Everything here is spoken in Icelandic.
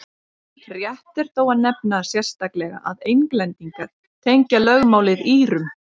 rétt er þó að nefna sérstaklega að englendingar tengja lögmálið írum